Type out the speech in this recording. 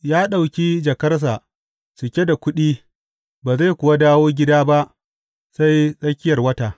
Ya ɗauki jakarsa cike da kuɗi ba zai kuwa dawo gida ba sai tsakiyar wata.